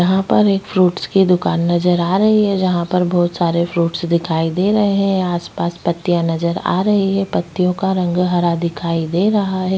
यहाँ पर एक फ्रूट्स की दुकान नज़र आ रही है जहाँ पर बहोत सारे फ्रूट्स दिखाई दे रहै है आसपास पत्तिया नज़र आ रही है पतियों का रंग हरा दिखाई दे रहा है।